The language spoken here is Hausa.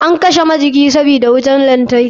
An kashe majikin sabida wutar lantarki.